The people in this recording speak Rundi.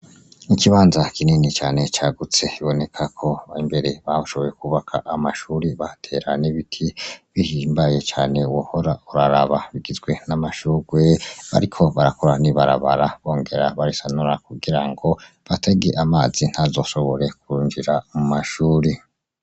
Ikibanza kinini cane cagutse ,bibonekako imbere bashoboye kuhubaka amashuri bahatera n'ibiti ,bihimbaye cane wohora uraraba bigizwe n'amashurwe ,bariko barakora n'ibarabara ,bongera barisanura kugira ngo batege amazi ,ntazoshobore kwinjira mumashuri.